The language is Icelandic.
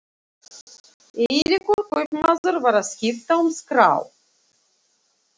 Eiríkur kaupmaður var að skipta um skrá.